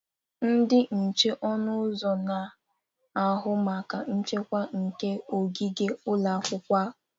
Ndị nche ọnụ ụzọ na-ahụ maka nchekwa nke ogige ụlọ akwụkwọ.